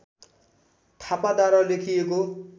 थापाद्वारा लेखिएको